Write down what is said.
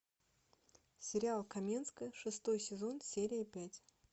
сериал каменская шестой сезон серия пять